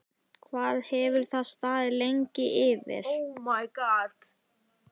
Hvað hefur það staðið lengi yfir?